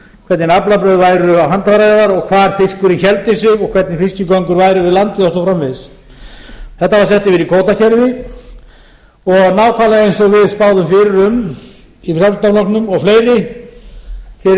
hvernig aflabrögð væru á handfæraveiðar hvar fiskurinn héldi sig og hvernig fiskigöngur væru við landið og svo framvegis þetta var sett yfir í kvótakerfi og nákvæmlega eins og við spáðum fyrir um í frjálslynda flokknum og fleiri í